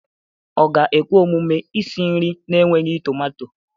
Ọ ga-ekwe omume isi nri na-enweghị tomato?